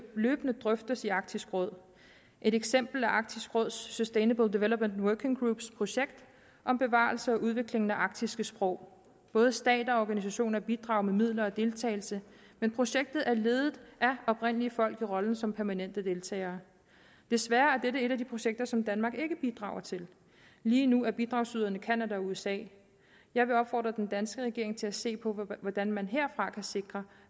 løbende drøftes i arktisk råd et eksempel er arktisk råds sustainable development working groups projekt om bevarelsen og udviklingen af arktiske sprog både stater og organisationer bidrager med midler og deltagelse men projektet er ledet af oprindelige folk i rollen som permanente deltagere desværre er dette et af de projekter som danmark ikke bidrager til lige nu er bidragsyderne canada og usa jeg vil opfordre den danske regering til at se på hvordan man herfra kan sikre